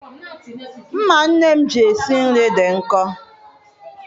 Mma nne m ji esi nri dị nkọ.